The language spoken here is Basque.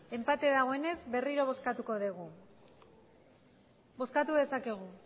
enpate dagoenez berriro bozkatuko dugu bozkatu dezakegu